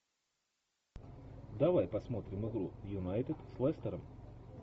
давай посмотрим игру юнайтед с лестером